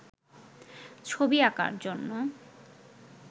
ছবি আঁকার জন্য